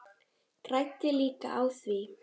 Græddi líka á því.